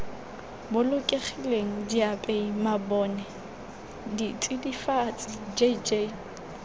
bolokegileng diapei mabone ditsidifatsi jj